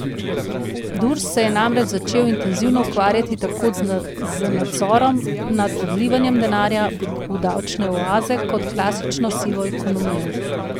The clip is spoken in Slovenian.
Durs se je namreč začel intenzivno ukvarjati tako z nadzorom nad odlivanjem denarja v davčne oaze kot klasično sivo ekonomijo.